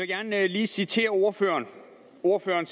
gerne lige citere ordføreren ordføreren